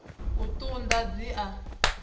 u ṱun ḓa dzi a